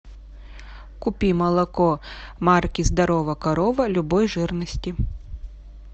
купи молоко марки здорова корова любой жирности